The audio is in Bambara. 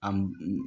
A m